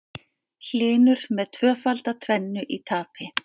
Hlynur með tvöfalda tvennu í tapi